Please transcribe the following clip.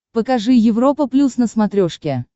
покажи европа плюс на смотрешке